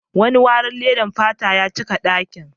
Wani wari ledar fata ya cika dakin.